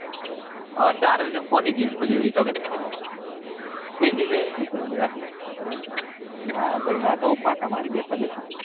હવે ચાર વાગે કોની જિમ ખુલ્લી હોય એતો કે ખુલ્લી હોય એને ખબર હોય આપડે હુંખબર હોય ના ભાઈ ના હું ફાંકા મારે બેઠા બેઠા.